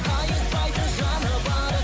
қайыспайтын жаны бар